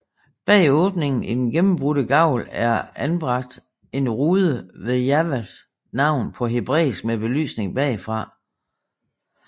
Bag åbningen i den gennembrudte gavl er anbragt en rude med Jahves navn på hebræisk med belysning bagfra